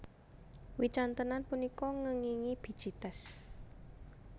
Wicantenan punika ngèngingi biji tès